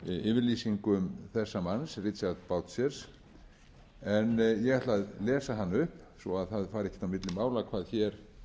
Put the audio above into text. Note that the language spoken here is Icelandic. yfirlýsingum þessa manns richard boucher en ég ætla að lesa hana upp svo að það fari ekkert á milli mála hvað hér er um